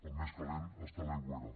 el més calent és a l’aigüera